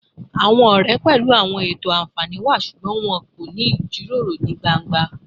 Awọn ọrẹ pẹlu awọn eto anfani wa ṣugbọn wọn ko ni ijiroro ni gbangba